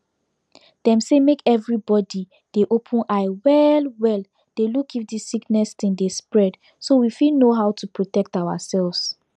dem say make everybody dey open eye well well dey look if this sickness thing dey spread so we fit know how to protect ourselves